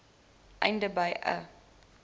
einde beide i